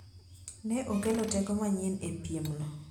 ne okelo teko manyien e piem no